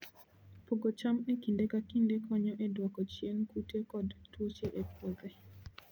Pogo cham e kinde ka kinde konyo e dwoko chien kute kod tuoche e puothe.